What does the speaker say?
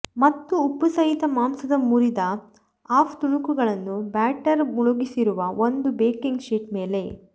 ಮತ್ತು ಉಪ್ಪುಸಹಿತ ಮಾಂಸದ ಮುರಿದ ಆಫ್ ತುಣುಕುಗಳನ್ನು ಬ್ಯಾಟರ್ ಮುಳುಗಿಸಿರುವ ಒಂದು ಬೇಕಿಂಗ್ ಶೀಟ್ ಮೇಲೆ